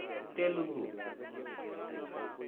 Telugu